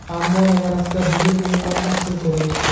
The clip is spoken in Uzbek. Ammo nevarasida bugun umuman aksini ko‘rayapti.